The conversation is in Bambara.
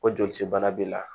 O jolisebana b'i la